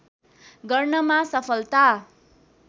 गर्नमा सफलता